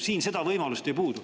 Siin seda võimalust ei ole.